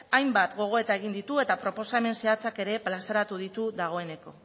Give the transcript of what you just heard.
hainbat gogoeta egin ditu eta proposamen zehatzak ere plazaratu ditu dagoeneko